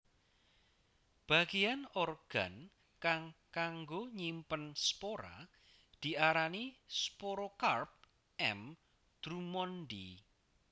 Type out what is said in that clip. Bagéyan organ kang kanggo nyimpen spora diarani sporokarp M drummondii